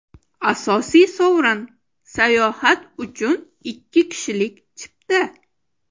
Asosiy sovrin: sayohat uchun ikki kishilik chipta.